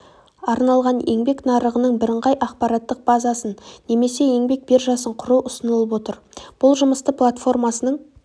арналған еңбек нарығының бірыңғай ақпараттық базасын немесе еңбек биржасын құру ұсынылып отыр бұл жұмысты платформасының